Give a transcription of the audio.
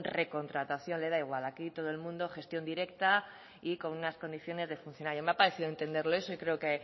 recontratación le da igual aquí todo el mundo gestión directa y con unas condiciones de funcionario me ha parecido entenderle eso y creo que